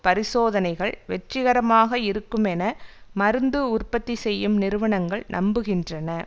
பரிசோதனைகள் வெற்றிகரமாக இருக்குமென மருந்து உற்பத்தி செய்யும் நிறுவனங்கள் நம்புகின்றன